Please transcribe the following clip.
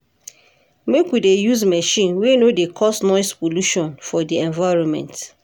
Make we dey use machine wey no dey cause noise polution for di environment.